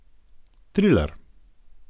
Triler.